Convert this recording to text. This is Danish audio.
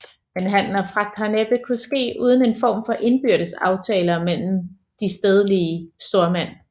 Men handel og fragt har næppe kunnet ske uden en form for indbyrdes aftaler mellem de stedlige stormænd